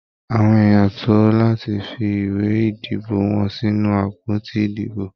Àwọn èèyàn tó láti fi ìwé ìdìbò wọn sínú àpótí ìdìbò.